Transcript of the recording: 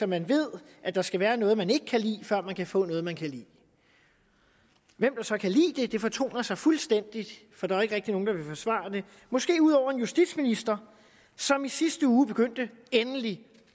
man ved at der skal være noget man ikke kan lide før man kan få noget man kan lide hvem der så kan lide det fortoner sig fuldstændig for der er jo ikke rigtig nogen der vil forsvare det måske ud over en justitsminister som i sidste uge begyndte endelig